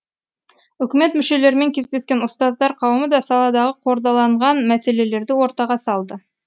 үкімет мүшелерімен кездескен ұстаздар қауымы да саладағы қордаланған мәселелерді ортаға салды